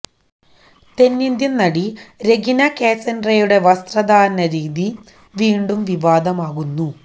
തെന്നിന്ത്യന് നടി രെഗിന കാസന്ഡ്രയുടെ വസ്ത്രധാരണ രീതി വീണ്ടും വിവാദമാകുന്നു